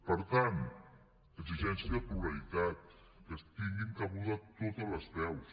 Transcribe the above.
per tant exigència de pluralitat que hi tinguin cabuda totes les veus